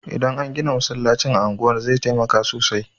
Idan an gina masallacin a unguwar zai taimaka sosai